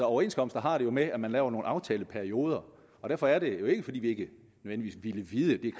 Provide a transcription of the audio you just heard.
overenskomster har det jo med at man laver nogle aftaleperioder og derfor er det jo ikke nødvendigvis fordi vi ville vide